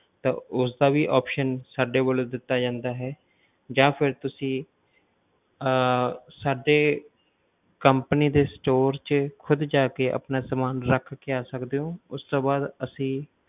ਉਸਦਾ ਵੀ option ਸਾਡੇ ਕੋਲ ਦਿੱਤਾ ਜਾਂਦਾ ਹੈ ਜਾਂ ਫਿਰ ਤੁਸੀਂ ਆਹ ਸਾਡੇ company ਦੇ store 'ਚ ਖੁਦ ਜਾ ਕੇ ਆਪਣਾ ਸਮਾਨ ਰੱਖ ਕੇ ਆ ਸਕਦੇ ਹੋ ਉਸਤੋਂ ਬਾਅਦ ਅਸੀਂ,